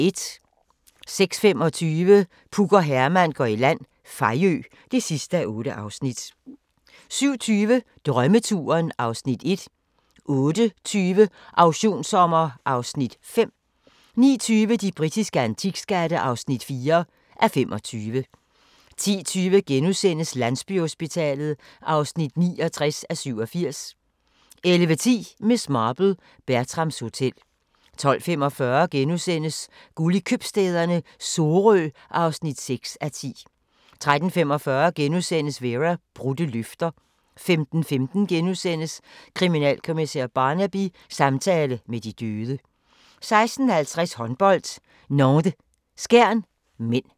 06:25: Puk og Herman går i land – Fejø (8:8) 07:20: Drømmeturen (Afs. 1) 08:20: Auktionssommer (Afs. 5) 09:20: De britiske antikskatte (4:25) 10:20: Landsbyhospitalet (69:87)* 11:10: Miss Marple: Bertrams Hotel 12:45: Guld i Købstæderne - Sorø (6:10)* 13:45: Vera: Brudte løfter * 15:15: Kriminalkommissær Barnaby: Samtale med de døde * 16:50: Håndbold: Nantes-Skjern (m)